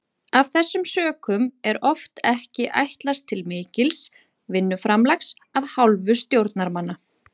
Af þessum sökum er oft ekki ætlast til mikils vinnuframlags af hálfu stjórnarmanna.